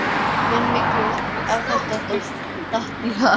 Menn mikluðust af því að detta í það.